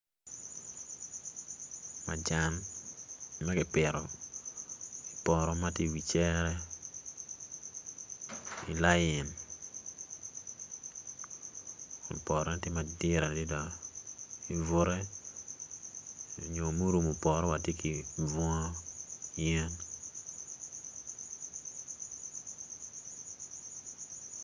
Majan ma kipito ipoto matye i wi cere ilain potone tye madit adada ibute nyo murumu poto watye ki bunga yen